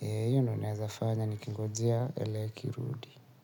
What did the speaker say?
Hiyo ndo naeza fanya nikingojea ele ikirudi.